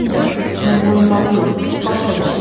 Hökümdar, mən boyunbağı yox, başqa bir şey istəyirəm.